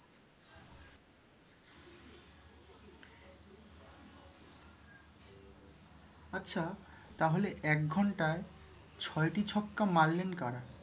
আচ্ছা তাহলে এক ঘন্টায় ছয়টি ছক্কা মারলেন কারা?